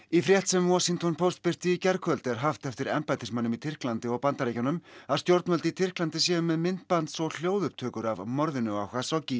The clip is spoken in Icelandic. í frétt sem Washington Post birti í gærkvöld er haft eftir embættismönnum í Tyrklandi og Bandaríkjunum að stjórnvöld í Tyrklandi séu með myndbands og hljóðupptökur af morðinu á